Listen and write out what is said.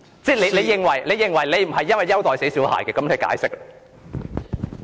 如果你認為你並非優待"死小孩"，請作出解釋。